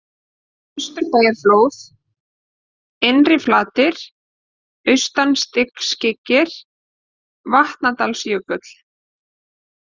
Austurbæjarflóð, Innriflatir, Austastiskyggnir, Vatnsdalsjökull